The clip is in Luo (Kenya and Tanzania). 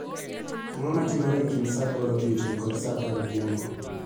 Ango matimore e kind saa aboro odiechieng' kod saa apar odhiambo.